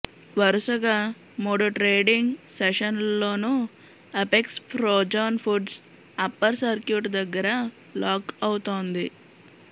వరుసగా మూడు ట్రేడింగ్ సెషన్స్లోనూ Apex Frozen Foods upper circuit దగ్గర లాక్ అవుతోంది